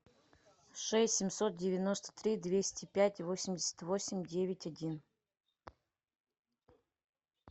шесть семьсот девяносто три двести пять восемьдесят восемь девять один